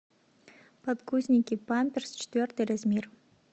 подгузники памперс четвертый размер